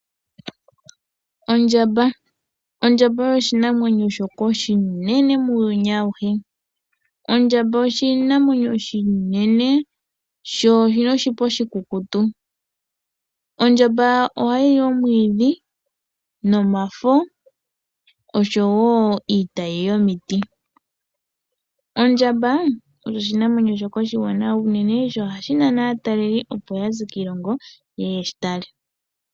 Ondjamba Ondjamba oyo oshinamwenyo shoka oshinene muuyuni auhe. Ondjamba oshinamwenyo oshinene sho oshi na oshipa oshikukutu. Ondjamba ohayi li omwiidhi nomafo, oshowo iitayi yomiti. Ondjamba oyo oshinamwenyo shoka oshiwanawa unene nohashi nana aatalelipo, opo ya ze kiilongo ye ye ye shi tale.